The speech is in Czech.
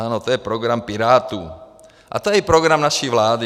Ano, to je program Pirátů a to je i program naší vlády.